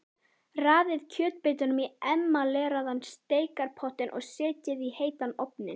Raðið kjötbitunum í emaleraðan steikarpott og setjið í heitan ofninn.